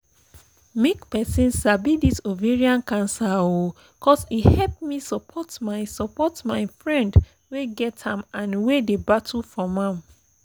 make persin sabi this ovarian cancer oooo cos e help me support my support my friend wey get am and wey dey battle from am